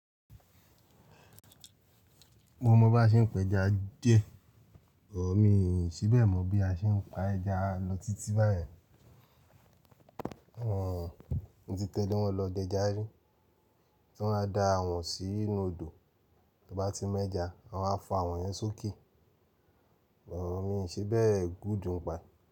Mo mọ bí a ṣe ń pẹja díẹ̀, but mi ì fi bẹ́ẹ̀ mọ bí a ṣe ń pa ẹja lọ títí báyẹn. Wọ-ọ̀n mo ti tẹ̀lé wọn lọ d'ẹja rí, tí wọ́n á da àwọ̀n sí inú odò, t'óbá ti mẹ́ja, wọ́n á wá fa àwọ̀n yẹn sókè. Òun ni ǹṣe bẹ́ẹ̀ good ń pa ẹ̀.